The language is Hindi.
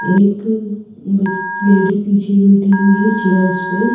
एक लेडी पीछे बैठी हुई है चेयर्स पे--